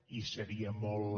i seria molt